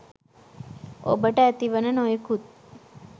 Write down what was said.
ඔබට ඇතිවන නොයෙකුත්